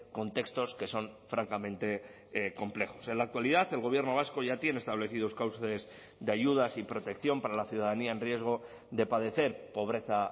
contextos que son francamente complejos en la actualidad el gobierno vasco ya tiene establecidos cauces de ayudas y protección para la ciudadanía en riesgo de padecer pobreza